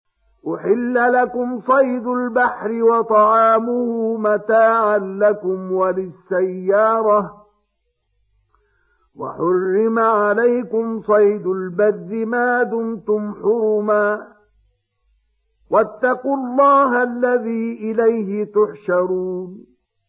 أُحِلَّ لَكُمْ صَيْدُ الْبَحْرِ وَطَعَامُهُ مَتَاعًا لَّكُمْ وَلِلسَّيَّارَةِ ۖ وَحُرِّمَ عَلَيْكُمْ صَيْدُ الْبَرِّ مَا دُمْتُمْ حُرُمًا ۗ وَاتَّقُوا اللَّهَ الَّذِي إِلَيْهِ تُحْشَرُونَ